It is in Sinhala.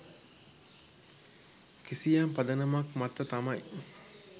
කිසියම් පදනමක් මත තමයි.